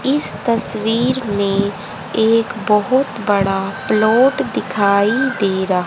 इस तस्वीर में एक बहोत बड़ा प्लॉट दिखाई दे र--